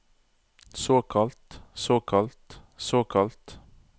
såkalt såkalt såkalt